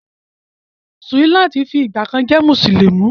Suliat ti fi ìgbàkan jẹ́ mùsùlùmí.